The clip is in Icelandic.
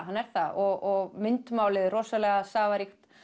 hann er það og myndmálið er rosalega safaríkt